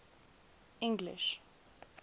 english